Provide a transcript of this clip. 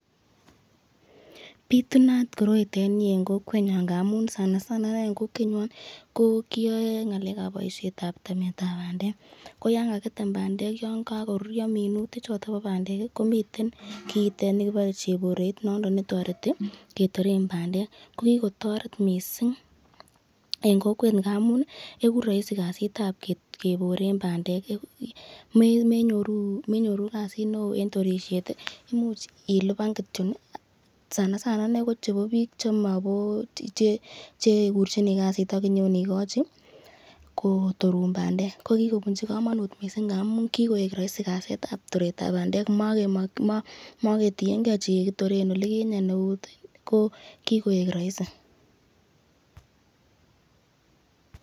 Bitunat koroiton en kokwenyon ng'amun sana sana ineii en kokwenyon ko kiyoe ngalekab temishetab bandek koyoon kakitem bandek yoon kokoruryo minuti choton bo bandek komiten kiitet nikibore chebore noton netoreti ketoren bandek, ko kikotoret mising en kokwet amuun ikuu roisi kasiitab keboren bandek, menyoru kasiit neoo en torishet, imuuch iliban kityok sana sana kochebo biik chekurchuni kasiit ak inyon ikochi kotorun bandek, ko kikobunchi komonut mising ng'amun kikoik roisi kasiitab toretab bandek moketienge chukii kitoren olikinyen eut ko kikoik roisi.